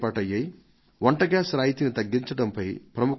ఆ కమిటీలకు వంట గ్యాస్ రాయితీని తగ్గించడంపైన పలు ప్రతిపాదనలు అందేవి